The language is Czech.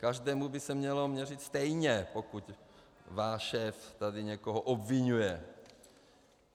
Každému by se mělo měřit stejně, pokud váš šéf tady někoho obviňuje.